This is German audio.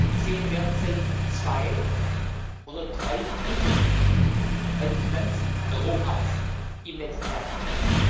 Ich sehe derzeit zwei oder drei Lücken bei den Finanzen Europas im nächsten Jahrzehnt.